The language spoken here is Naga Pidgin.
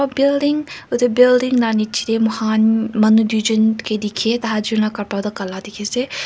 building edu building la nichae tae mokham manu tuijon kae dikhae taijon la kapra toh kala dikhiase.